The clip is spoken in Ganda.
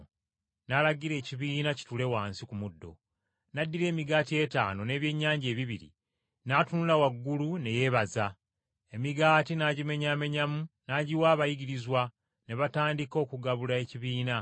N’alagira ekibiina kituule wansi ku muddo, n’addira emigaati etaano n’ebyennyanja ebibiri, n’atunula waggulu ne yeebaza, emigaati n’agimenyaamenyamu n’agiwa abayigirizwa ne batandika okugabula ekibiina.